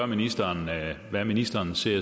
ministeren hvad ministeren ser